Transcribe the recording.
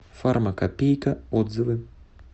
фармакопейка отзывы